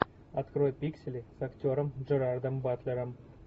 открой пиксели с актером джерардом батлером